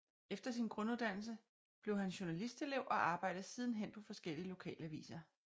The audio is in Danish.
Efter sin grunduddannelse blev han journalistlelev og arbejdede siden hen på forskellige lokalaviser